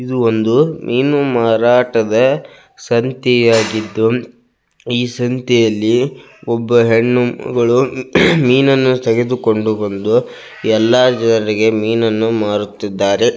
ಇದು ಒಂದು ಮೀನು ಮಾರಾಟದ ಸಂತಿಯಾಗಿದ್ದು ಈ ಸಂತಿಯಲ್ಲಿ ಒಬ್ಬ ಹೆಣ್ಣು ಮಗಳು ಮೀನನ್ನು ತೆಗೆದುಕೊಂಡು ಬಂದು ಎಲ್ಲಾ ಜನರಿಗೆ ಮೀನನ್ನು ಮಾರುತ್ತಿದ್ದಾರೆ.